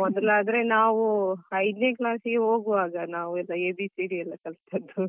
ಮೊದ್ಲಾದ್ರೆ ನಾವು ಐದನೇ class ಗೆ ಹೋಗುವಾಗ ನಾವು ಎಲ್ಲ ABCD ಎಲ್ಲ ಕಲ್ತದ್ದು